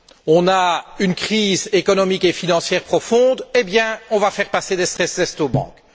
On a une crise économique et financière profonde, eh bien on va faire passer des aux banques!